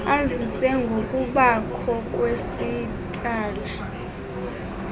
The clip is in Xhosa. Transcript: azise ngokubakho kwesitsala